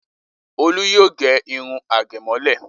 Olú yóò gẹ irun àgẹ̀mọ́lẹ̀.